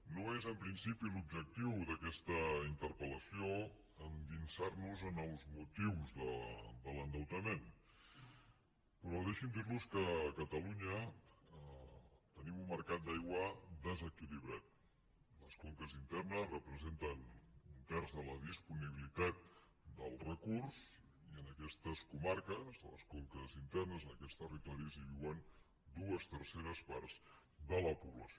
no és en principi l’objectiu d’aquesta interpellació endinsar nos en els motius de l’endeutament però deixin me dir los que a catalunya tenim un mercat d’aigua desequilibrat les conques internes representen un terç de la disponibilitat del recurs i en aquestes comarques a les conques internes en aquests territoris hi viuen dues terceres parts de la població